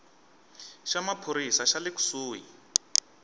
xa maphorisa xa le kusuhi